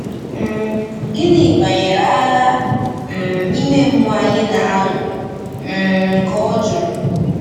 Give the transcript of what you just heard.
um “Gịnị banyere agha um ime mmụọ anyị na-alụ?” um ka ọ jụrụ.